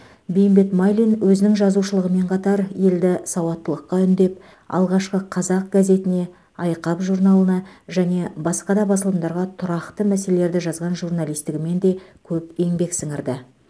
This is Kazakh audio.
бейімбет майлин өзінің жазушылығымен қатар елді сауаттылыққа үндеп алғашқы қазақ газетіне айқап журналына және басқа да басылымдарға тұрақты мәселелерді жазған журналистігімен де көп еңбек сіңірді